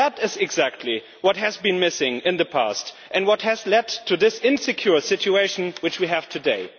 That is exactly what has been missing in the past and what has led to the insecure situation we have today.